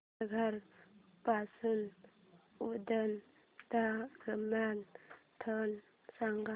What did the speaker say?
तारघर पासून उरण दरम्यान ट्रेन सांगा